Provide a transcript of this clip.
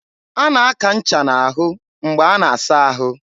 a na-aka ncha n'ahụ mgbe a na-asa ahụ.